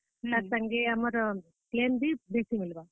ତାର ସାଙ୍ଗେ ଆମର claim ବି ବେସି ମିଲ୍ ବା।